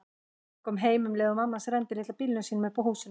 Hann kom heim um leið og mamma hans renndi litla bílnum sínum upp að húsinu.